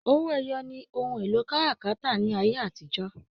Owó ẹyọ ní ohùn èlò káràkátà ní ayé àtijọ́.